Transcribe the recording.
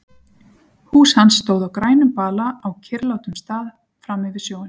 Hús hans stóð á grænum bala á kyrrlátum stað frammi við sjóinn.